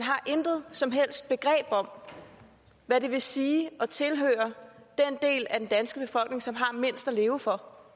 intet som helst begreb har om hvad det vil sige at tilhøre den del af den danske befolkning som har mindst at leve for